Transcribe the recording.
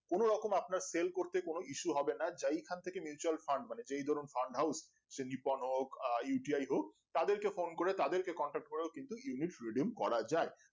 কোনোরকম আপনার sell করতে কোনো ইসু হবে না যেই খান থেকে Mutual Fund মানে যেই ধরেন farm house সে নিপন হোক আহ U T I হোক তাদের কে phone করে তাদের কে contact করেও কিন্তু unit freedom করা যায়